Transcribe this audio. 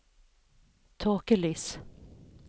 tåkelys